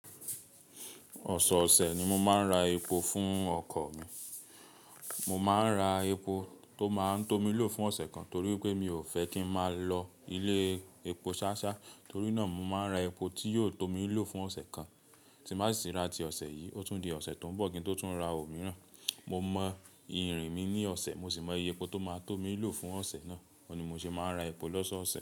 Ọ̀sọ̀ọ̀sẹ̀ ni mo máa ń ra epo fún ọkọ̀ mi. Mo máa ń ra epo tó máa ń tó mi ílò fún ọ̀sẹ̀ kan, torí pé mi ò fẹ́ kí n máa lọ ilé epo ṣááṣáá. Torí náà, mo máa ń ra epo tí yóò tó mi í lò fún ọ̀sẹ̀ kan. Tí n bá sì ti rà ti ọ̀sẹ̀ yìí, ó tún di ọ̀sẹ̀ tó ń bọ̀ kí n tó tún ra òmíràn. Mo mọ ìrìn mi ní ọ̀sẹ̀, mo sì mọ iye epo tó máa tó mi lò fún ọ̀sẹ̀ náà. Òun ni mo ṣe máa ń ra epo lọ́ṣọ̀ọ̀sẹ̀.